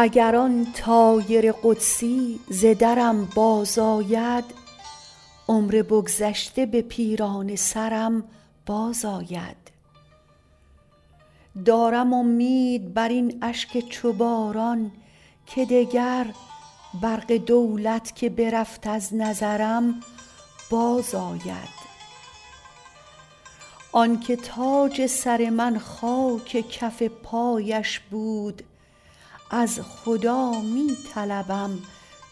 اگر آن طایر قدسی ز درم بازآید عمر بگذشته به پیرانه سرم بازآید دارم امید بر این اشک چو باران که دگر برق دولت که برفت از نظرم بازآید آن که تاج سر من خاک کف پایش بود از خدا می طلبم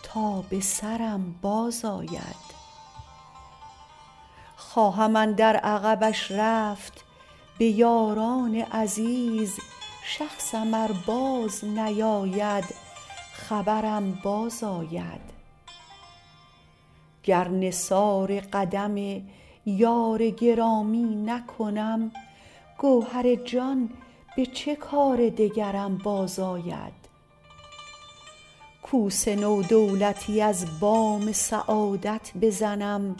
تا به سرم بازآید خواهم اندر عقبش رفت به یاران عزیز شخصم ار بازنیاید خبرم بازآید گر نثار قدم یار گرامی نکنم گوهر جان به چه کار دگرم بازآید کوس نو دولتی از بام سعادت بزنم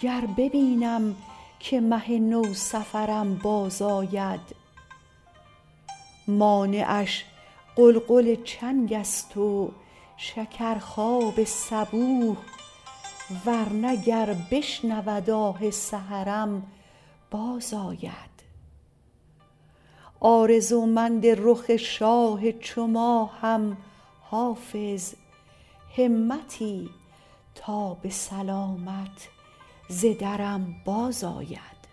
گر ببینم که مه نوسفرم بازآید مانعش غلغل چنگ است و شکرخواب صبوح ور نه گر بشنود آه سحرم بازآید آرزومند رخ شاه چو ماهم حافظ همتی تا به سلامت ز درم بازآید